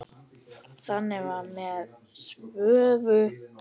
Þannig var það með Svövu.